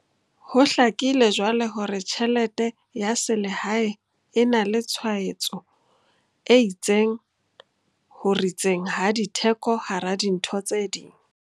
Ho hlakile jwale hore tjhelete ya selehae e na le tshwaetso e itseng ho ritseng ha ditheko hara dintho tse ding.